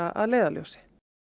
að leiðarljósi